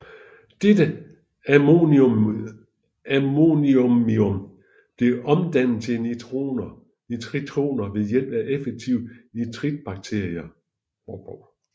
Dette ammoniumion bliver omdannet til nitritioner ved hjælp af effektive nitritbakterier